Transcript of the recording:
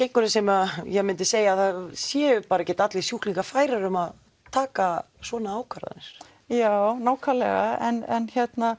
einhverjir sem myndu segja að það séu bara ekkert allir sjúklingar færir um að taka svona ákvarðanir já nákvæmlega en